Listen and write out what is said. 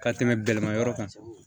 Ka tɛmɛ gɛlɛnma yɔrɔ kan